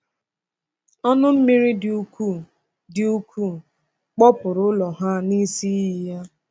Ọnụ mmiri dị ukwuu dị ukwuu kpọpụụrụ ụlọ ha n’isi iyi ya.